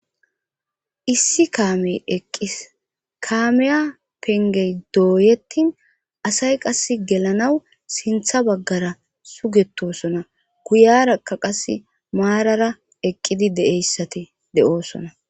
issi kaamey eqqis kaameya pengey dooyettin asay qas gelanaw sintha baggara sugetosona guyarakka qase maarara eqqidi deeyssati de7oosona